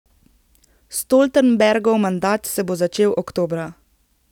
Stoltenbergov mandat se bo začel oktobra.